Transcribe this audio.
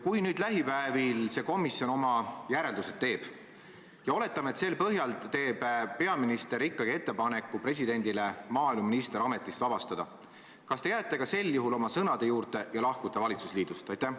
Kui nüüd lähipäevil see komisjon oma järeldused teeb ja oletame, et sel põhjal teeb peaminister ikkagi ettepaneku presidendile maaeluminister ametist vabastada, siis kas te jääte ka sel juhul oma sõnade juurde ja lahkute valitsusliidust?